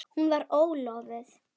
Hún var ólofuð.